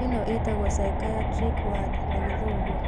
Ĩno ĩtagwo psychiatric ward na gĩthũngũ